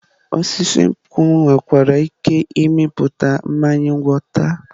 Osisi nkwụ nwekwara ike ịmịpụta mmanya ngwọta.